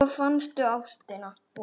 Svo fannstu ástina.